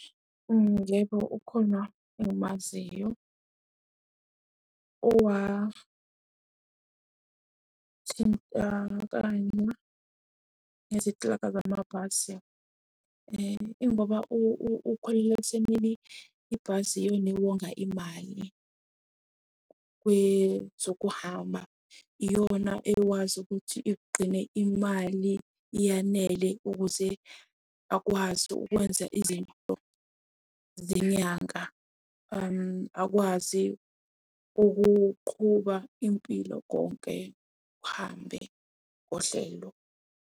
Yebo, ukhona engimaziyo owathintakala nezinklabha zamabhasi ingoba ukholelwa ekutheni ibhasi iyona ewonga imali kwezokuhamba iyona ekwazi ukuthi igqine imali iyanele ukuze akwazi ukwenza izinto zenyanga, akwazi ukuqhuba impilo konke kuhambe ngohlelo.